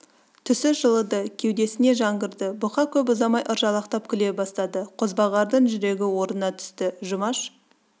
түсі жылыды кеудесіне жан кірді бұқа көп ұзамай ыржалақтап күле бастады қозбағардың жүрегі орнына түсті жұмаш